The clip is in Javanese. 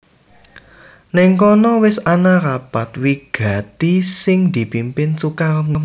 Nèng kono wis ana rapat wigati sing dipimpin Sukarni